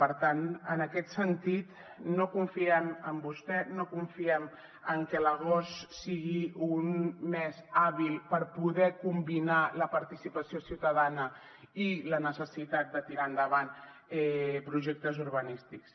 per tant en aquest sentit no confiem en vostè no confiem en que l’agost sigui un mes hàbil per poder combinar la participació ciutadana i la necessitat de tirar endavant projectes urbanístics